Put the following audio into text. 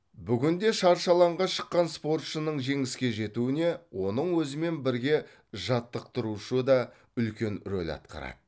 бүгінде шаршы алаңға шыққан спортшының жеңіске жетуіне оның өзімен бірге жаттықтырушы да үлкен рөл атқарады